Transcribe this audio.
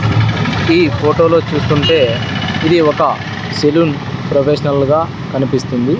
ఈ ఫొటో లో చూస్తుంటే ఇది ఒక సెలూన్ ప్రొఫెషనల్ గా కనిపిస్తుంది.